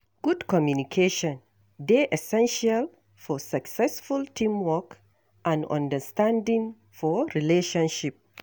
Good communication dey essential for successful teamwork and understanding for relationship.